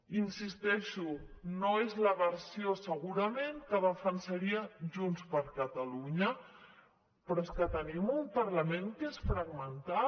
hi insisteixo no és la versió segurament que defensaria junts per catalunya però és que tenim un parlament que és fragmentat